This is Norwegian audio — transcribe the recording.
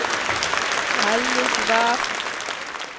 Helligvær